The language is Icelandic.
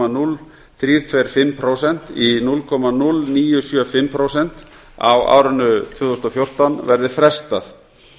núll þrjú tvö fimm prósent í núll komma núll níu sjö fimm prósent á árinu tvö þúsund og fjórtán verði frestað